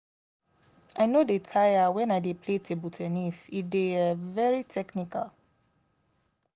i no dey tire wen i dey play table ten nis e dey um very technical